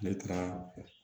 Ne taara